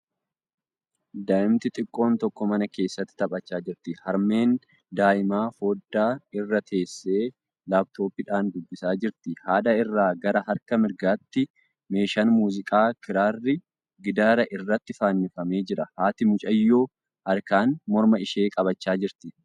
Daa'imti xiqqoon tokko mana keesatti taphachaa jirti. Harmeen daa'imaa foddaa irra teessee laaptooppiidhaan dubbisaa jirti. Haadha irraa gara harka mirgaatti meeshaan muuziqaa kiraarri gidaara irratti fannifamee jira. Haati mucayyoo harkaan morma ishee qabachaa jirti.